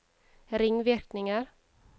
ringvirkninger